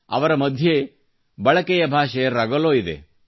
ಅವರ ಮಧ್ಯೆ ಬಳಕೆಯ ಭಾಷೆ ರಗಲೊ ಇದೆ